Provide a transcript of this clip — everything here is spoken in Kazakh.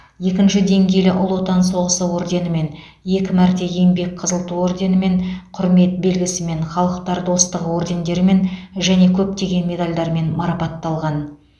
екінші деңгейлі ұлы отан соғысы орденімен екі мәрте еңбек қызыл ту орденімен құрмет белгісі мен халықтар достығы ордендерімен және көптеген медальдармен марапатталған